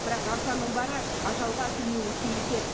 бірақ арзанның бәрі ажалға әкелмеуі тиіс еді